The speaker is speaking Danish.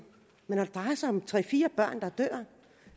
men når det drejer sig om tre fire børn der dør